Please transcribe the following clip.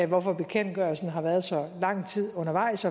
hvorfor bekendtgørelsen har været så lang tid undervejs